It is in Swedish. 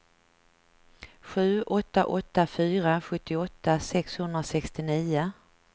sju åtta åtta fyra sjuttioåtta sexhundrasextionio